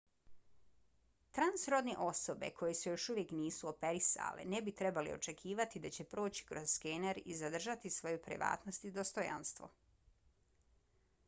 transrodne osobe koje se još uvijek nisu operisale ne bi trebale očekivati da će proći kroz skener i zadržati svoju privatnost i dostojanstvo